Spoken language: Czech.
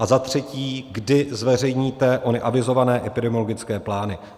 A za třetí, kdy zveřejníte ony avizované epidemiologické plány?